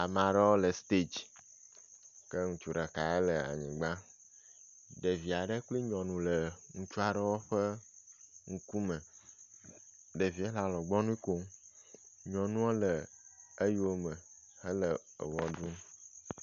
Ame aɖewo le stage ke ŋutsu ɖeka le anyigba. Ɖevi aɖewo kple nyɔnu le ŋutsu aɖewo ƒe ŋkume. Ɖevia le alɔgbunu kom. Nyɔnua le eyome hele ʋe ɖum.